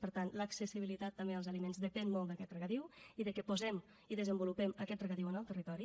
per tant l’accessibilitat també als aliments depèn molt d’aquest regadiu i que posem i desenvolupem aquest regadiu en el territori